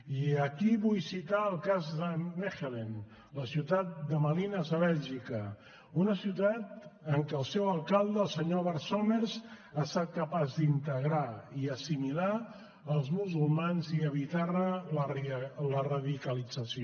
i aquí vull citar el cas de mechelen la ciutat de malines a bèlgica una ciutat en què el seu alcalde el senyor bart somers ha estat capaç d’integrar i assimilar els musulmans i evitar ne la radicalització